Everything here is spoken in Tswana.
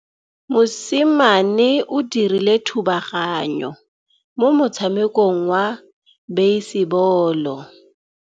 Mosimane o dirile thubaganyô mo motshamekong wa basebôlô.